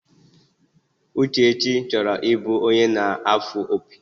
Uchechi choro ibu onye na afo opi.